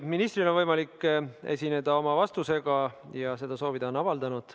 Ministril on võimalik esineda vastusega ja ta on selleks soovi avaldanud.